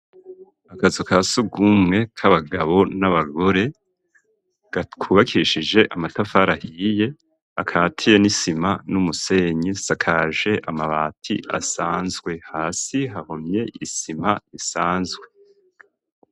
Akazu kasugumwe k'abagabo n'abagore kubakishije amatafari ahiye akatiye n'isima n'umusenyi isakaje amabati asanzwe hasi hahomye isima isanzwe.